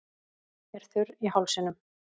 Er þurr í hálsinum.